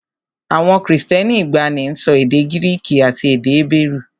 Àwọn Kristẹni ìgbàanì ń sọ èdè Gíríìkì àti èdè Hébérù